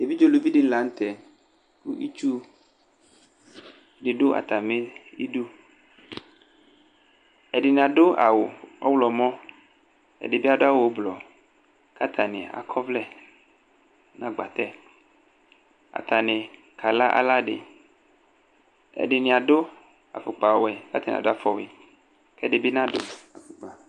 Evidze uluvi dɩnɩ la nutɛ Itsu dɩ dʋ atamɩ idu Ɛdɩnɩ adu awʋ ɔɣlɔmɔ, ɛdɩbɩ adʋ awʋ ʋblʋ Kʋ atanɩ akɔ ɔvlɛ nʋ agbatɛ Atanɩ kala aladɩ Ɛdɩnɩ adʋ afʋkpa ɔwɛ, kʋ atanɩ adʋ afɔwɩ Ɛdinɩ bɩ nadʋ afʋkpa